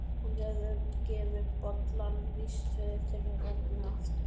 Hún gefur boltann vísvitandi til Rögnu aftur.